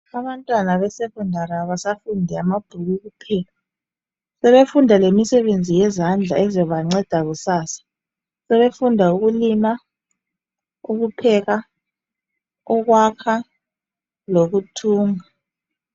Abantwana besekhondari abasafundi ngamabhuku kuphela. Sebefunda lemisebenzi yezandla ezabanceda kusasa. Sebefunda ukulima, ukupheka, ukwakha, lokuthunga.